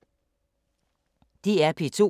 DR P2